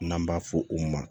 N'an b'a fɔ o ma